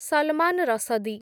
Salman Rushdie